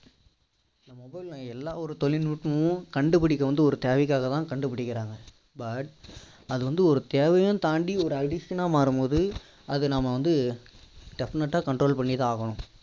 mobile ன்னு இல்ல எல்லா ஒரு தொழில்நூட்பமும் கண்டுபிடிக்க வந்து ஒரு தேவைக்காக தான் கண்டு பிடிக்கிறாங்க அது வந்து ஒரு தேவையும் தாண்டி ஒரு addiction னா மாறும் போது அதை நம்ம வந்து definite டா control பண்ணி தான் ஆகனும்